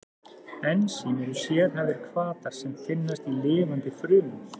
Ensím eru sérhæfðir hvatar sem finnast í lifandi frumum.